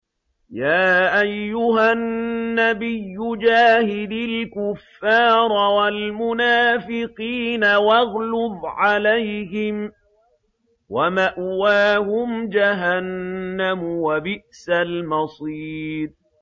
يَا أَيُّهَا النَّبِيُّ جَاهِدِ الْكُفَّارَ وَالْمُنَافِقِينَ وَاغْلُظْ عَلَيْهِمْ ۚ وَمَأْوَاهُمْ جَهَنَّمُ ۖ وَبِئْسَ الْمَصِيرُ